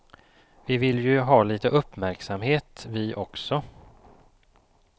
Vi vill ju ha lite uppmärksamhet vi också.